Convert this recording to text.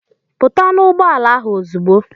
Pụta n'ụgbọala ahụ ozugbo!